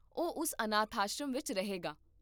ਉਹ ਉਸ ਅਨਾਥ ਆਸ਼ਰਮ ਵਿੱਚ ਰਹੇਗਾ